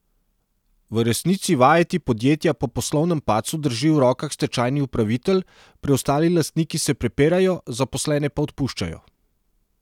V resnici vajeti podjetja po poslovnem padcu drži v rokah stečajni upravitelj, preostali lastniki se prepirajo, zaposlene pa odpuščajo.